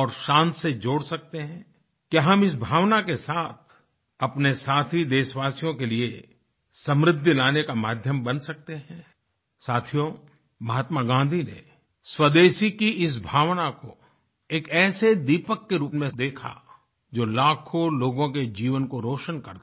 और शान से जोड़ सकते हैं क्या हम इस भावना के साथ अपने साथी देशवासियों के लिए समृद्धि लाने का माध्यम बन सकते हैं साथियो महात्मा गाँधी ने स्वदेशी की इस भावना को एक ऐसे दीपक के रूप में देखा जो लाखों लोगों के जीवन को रोशन करता हो